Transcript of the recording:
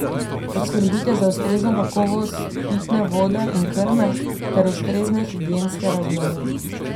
Poskrbite za ustrezno kakovost pitne vode in krme ter ustrezne higienske razmere.